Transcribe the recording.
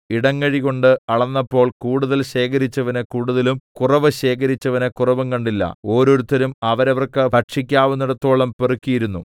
ഇടങ്ങഴികൊണ്ട് അളന്നപ്പോൾ കൂടുതൽ ശേഖരിച്ചവന് കൂടുതലും കുറവ് ശേഖരിച്ചവന് കുറവും കണ്ടില്ല ഓരോരുത്തരും അവരവർക്ക് ഭക്ഷിക്കാവുന്നേടത്തോളം പെറുക്കിയിരുന്നു